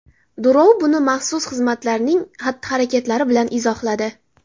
Durov buni maxsus xizmatlarning xatti-harakatlari bilan izohladi.